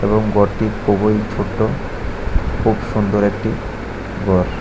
Room ভর্তি খুবই ছোট খুব সুন্দর একটি ঘর।